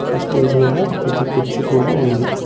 ఆ స్టేజ్ మీద ఒక పెద్ద కుర్చీ కూడా ఉంది.